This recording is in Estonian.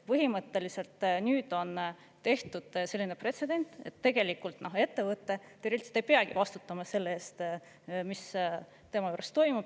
Põhimõtteliselt nüüd on tehtud selline pretsedent, et tegelikult ettevõte ei peagi vastutama selle eest, mis tema juures toimub.